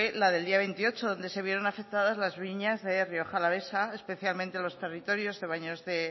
la del día veintiocho donde se vieron afectadas las viñas de rioja alavesa especialmente los territorios de